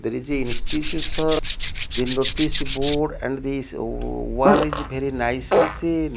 there is a are the notice board and these wall is bery nicely seen.